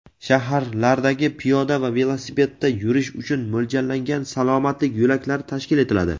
shaharlardagi piyoda va velosipedda yurish uchun mo‘ljallangan "Salomatlik yo‘laklari" tashkil etiladi.